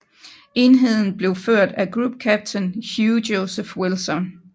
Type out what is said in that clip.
Enheden blev ført af Group Captain Hugh Joseph Wilson